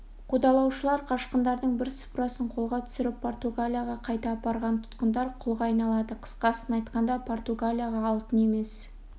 қудалаушылар қашқындардың бірсыпырасын қолға түсіріп португалияға қайта апарған тұтқындар құлға айналады қысқасын айтқанда португалияға алтын емес